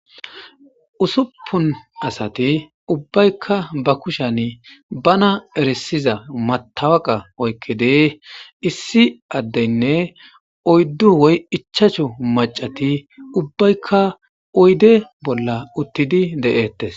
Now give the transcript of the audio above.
Ussupun asati ubbaykka ba kushani bana erisiza matawoqa oykkidi issi addeynne oyddu woy ichchachu maccati ubbaykka oyde bolla uttidi de'etes.